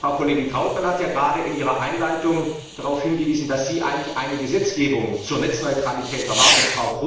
Frau Kollegin Trautmann hat eben in ihrer Einleitung darauf hingewiesen, dass sie eigentlich eine Gesetzgebung zur Netzneutralität erwartet.